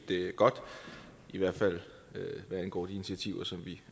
godt i hvert fald hvad angår de initiativer som vi